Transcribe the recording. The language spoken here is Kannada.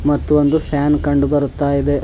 ಮತ್ತು ಒಂದು ಫ್ಯಾನ್ ಕಂಡು ಬರುತ್ತಾ ಇದೆ.